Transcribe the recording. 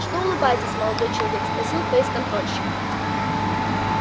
что улыбаетесь молодой человек спросил фейсконтрольщик